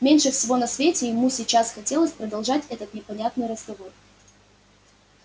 меньше всего на свете ему сейчас хотелось продолжать этот непонятный разговор